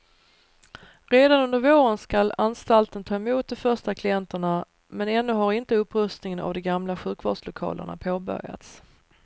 Redan under våren skall anstalten ta emot de första klienterna, men ännu har inte upprustningen av de gamla sjukvårdslokalerna påbörjats.